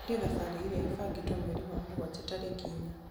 eheria thabarĩ ĩrĩa ĩbangĩtwo mweri wa mũgwanja tarĩki inya